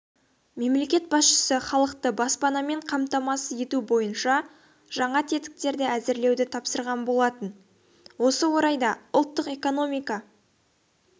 мемлекет басшысы халықты баспанамен қамтамасыз ету бойынша жаңа тетіктерді әзірлеуді тапсырған болатын осы орайда ұлттық экономика